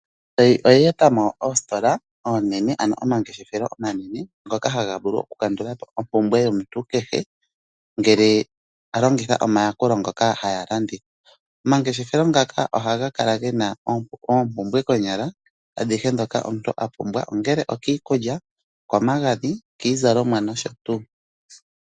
Aazayizayi oya eta mo oositola oonene ano omangeshefelo omanene ngoka haga vulu okukandula po ompumbwe yomuntu kehe ngele ta longitha omayakulo ngoka haya landitha. Omangeshefelo ngaka ohaga kala gena oompumbwe konyala adhike dhoka omuntu a pumbwa, ongele okiikulya, iikwamagadhi, iizalomwa nosho tuu.